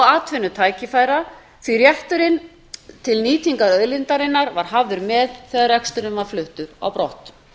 atvinnutækifæra því að rétturinn til nýtingar auðlindarinnar var hafður með þegar reksturinn var fluttur á brott